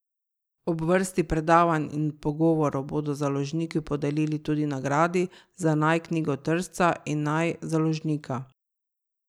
Ob vrsti predavanj in pogovorov bodo založniki podelili tudi nagradi za naj knjigotržca in naj založnika.